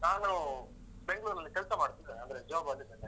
ನಾನು ಬೆಂಗ್ಳೂರಲ್ಲಿ ಕೆಲ್ಸ ಮಾಡ್ತಿದೀನಿ ಅಂದ್ರೆ job ನಲ್ಲಿದೇನೆ.